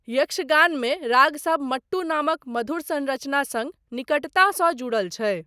यक्षगानमे रागसब मट्टू नामक मधुर संरचना सङ्ग निकटतासँ जुड़ल छै।